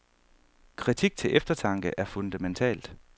Kritik til eftertanke er fundamentalt.